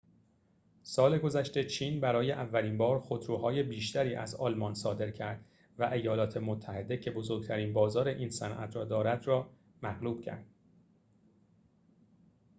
سال گذشته چین برای اولین بار خودروهای بیشتری از آلمان صادر کرد و ایالات متحده که بزرگترین بازار این صنعت را دارد را مغلوب کرد